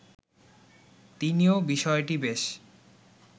তিনিও বিষয়টি বেশ